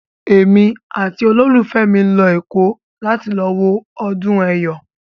Èmi àti olólùfẹ́ mi ń lọ Èkó láti wo ọdún Ẹ̀yọ̀.